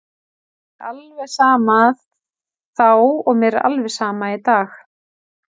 Mér var alveg sama þá og mér er alveg sama í dag.